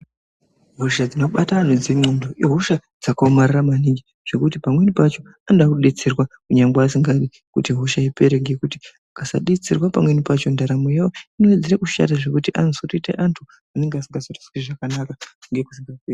Hosha dzinobata antu ihosha dzakaomarara maningi ngekuti pamweni pacho vanoda kudetserwa kunyangwe asingadi kuti hosha ipere ngekuti ukasadetserwa pamweni pacho ndaramo yawo Inowedzera kushata zvekuti anozouta antu anenge asinganzwi zvakanaka muzvibhedhlera.